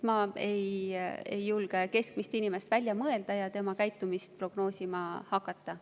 Ma ei julge keskmist inimest välja mõelda ja tema käitumist prognoosima hakata.